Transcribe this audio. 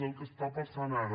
és el que està passant ara